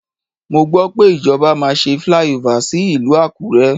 Mo gbọ́ pé ìjọba máa ṣe flyover sí ìlú Àkúré.